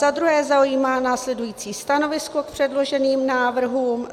Za druhé zaujímá následující stanovisko k předloženým návrhům.